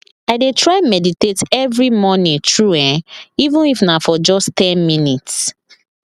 i deh try meditate every morning true eh even if na for just ten minutes